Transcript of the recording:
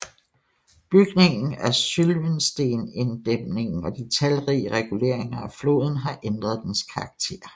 Bygningen af Sylvensteindæmningen og de talrige reguleringer af floden har ændret dens karakter